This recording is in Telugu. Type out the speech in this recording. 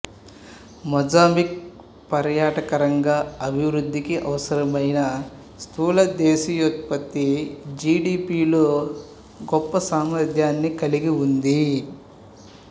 మొజాంబిక్ పర్యాటకరంగా అభివృద్ధికి అవసరమైన స్థూల దేశీయ ఉత్పత్తి జి డి పి లో గొప్ప సామర్థ్యాన్ని కలిగి ఉంది